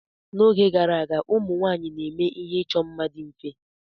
N'oge gara aga, ụmụ nwanyị na-eme ihe ịchọ mma dị mfe.